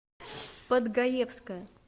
подгаевская